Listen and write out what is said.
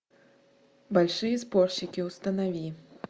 большие спорщики установи